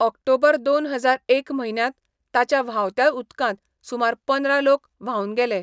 ऑक्टोबरदोन हजार एक म्हयन्यांत ताच्या व्हांवत्या उदकांत सुमार पंदरा लोक व्हांवन गेले.